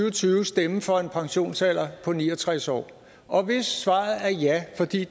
og tyve stemme for en pensionsalder på ni og tres år og hvis svaret er ja fordi